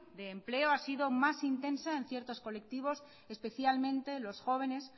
de empleo ha sido más intensa en ciertos colectivos especialmente los jóvenes